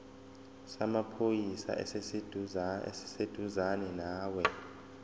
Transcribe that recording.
samaphoyisa esiseduzane nawe